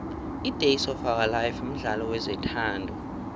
idays of ourlife mdlalo wezothando